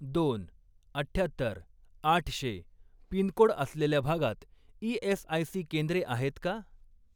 दोन, अठ्ठ्यात्तर, आठशे पिनकोड असलेल्या भागात ई.एस.आय.सी. केंद्रे आहेत का?